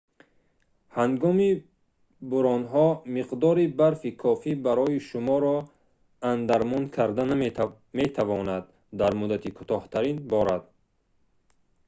ҳангоми бӯронҳо миқдори барфи кофӣ барои шуморо андармон кардан метавонад дар муддати кӯтоҳтарин борад